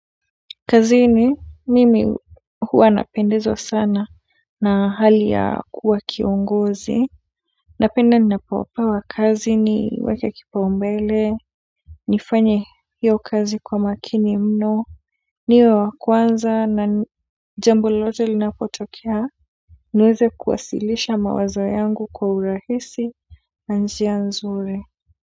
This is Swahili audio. Kazini mimi huwa napendezwa sana na hali ya kuwa kiongozi napenda ninapopewa kazi niweke kipaumbele nifanye hiyo kazi kwa makini mno niwe wa kwanza na jambo lolote linapotokea niweze kuwasilisha mawazo yangu kwa urahisi na njia nzuri.